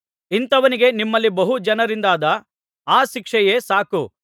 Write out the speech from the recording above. ಇಂಥವನಿಗೆ ನಿಮ್ಮಲ್ಲಿ ಬಹುಜನರಿಂದಾದ ಆ ಶಿಕ್ಷೆಯೇ ಸಾಕು